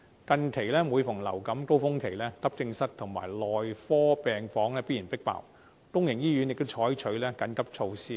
近期，每逢流感高峰期，急症室及內科病房必然"迫爆"，公營醫院亦採取緊急措施。